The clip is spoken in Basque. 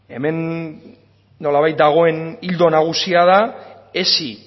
hemen nolabait dagoen ildo nagusia da hezi